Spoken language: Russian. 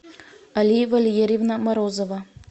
алия валерьевна морозова